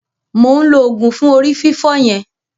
Mo ǹ lo òògùn fún orí fífọ́ yẹn.